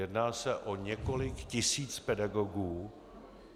Jedná se o několik tisíc pedagogů.